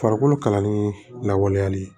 Farikolo kalanni lawaleyali ye